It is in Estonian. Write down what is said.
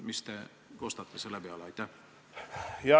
Mis te kostate selle peale?